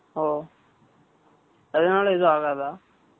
ஓ. அதனால, எதுவும் ஆகாத?